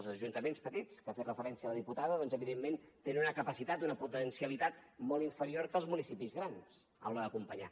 els ajuntaments petits que ha fet referència la diputada doncs evidentment tenen una capacitat i una potencialitat molt inferior que els municipis grans a l’hora d’acompanyar